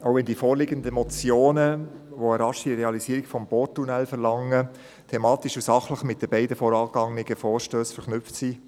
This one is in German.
Auch wenn die vorliegenden Motionen, die eine rasche Realisierung des Porttunnels verlangen, thematisch und sachlich mit den beiden vorangegangenen Vorstössen verknüpft sind,